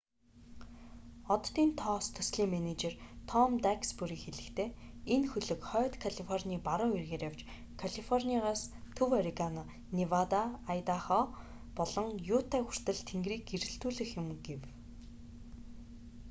оддын тоос төслийн менежер том даксбюри хэлэхдээ энэ хөлөг хойд калифорний баруун эргээр явж калифорниас төв орегон невада айдахо болон юта хүртэл тэнгэрийг гэрэлтүүлэх юм гэв